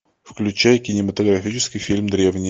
включай кинематографический фильм древние